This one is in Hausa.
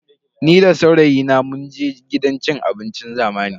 Ni da saurayina munje gidan cin abincin zamani.